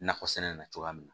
Nakɔ sɛnɛ na cogoya min na